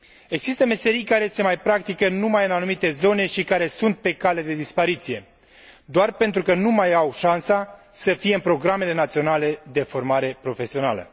Există meserii care se mai practică numai în anumite zone și care sunt pe cale de dispariție, doar pentru că nu mai au șansa să fie în programele naționale de formare profesională.